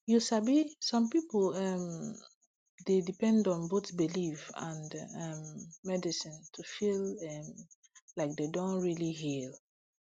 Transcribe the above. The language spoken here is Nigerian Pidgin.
you sabi some um pipo dey depend on both belief and um medicine to feel um like dem don really heal